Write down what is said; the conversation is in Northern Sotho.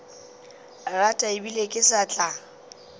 rata ebile ke sa tla